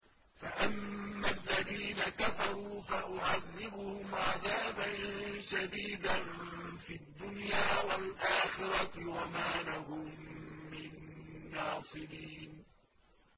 فَأَمَّا الَّذِينَ كَفَرُوا فَأُعَذِّبُهُمْ عَذَابًا شَدِيدًا فِي الدُّنْيَا وَالْآخِرَةِ وَمَا لَهُم مِّن نَّاصِرِينَ